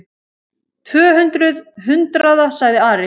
Tvö hundruð hundraða, sagði Ari.